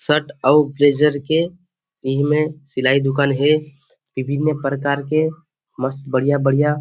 shirt और blazer के इही में सिलाई दुकान हे विभिन्न प्रकार के मस्त बढ़िया -बढ़िया --